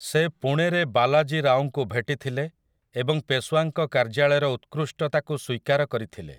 ସେ ପୁଣେରେ ବାଲାଜୀ ରାଓଙ୍କୁ ଭେଟିଥିଲେ ଏବଂ ପେଶୱାଙ୍କ କାର୍ଯ୍ୟାଳୟର ଉତ୍କୃଷ୍ଟତାକୁ ସ୍ୱୀକାର କରିଥିଲେ ।